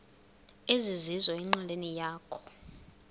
ezizizo enqileni yakho